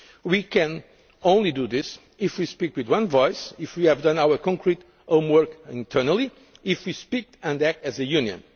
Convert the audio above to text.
on this. We can only do this if we speak with one voice, if we have done our concrete homework internally, if we speak and act as